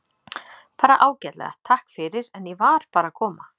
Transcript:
Bara ágætlega, takk fyrir, en ég var bara að koma.